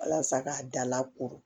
Walasa k'a dala ko